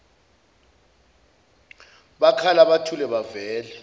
bakhala buthule bavele